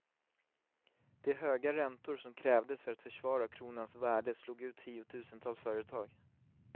De höga räntor som krävdes för att försvara kronans värde slog ut tiotusentals företag.